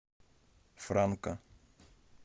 франка